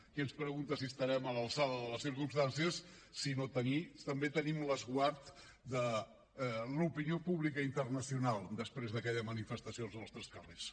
qui ens pregunta si estarem a l’alçada de les circumstàncies sinó que també tenim l’esguard de l’opinió pública internacional després d’aquella manifestació als nostres carrers